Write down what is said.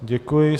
Děkuji.